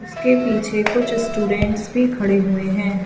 उसके पीछे कुछ स्टूडेंट्स भी खड़े हुए हैं।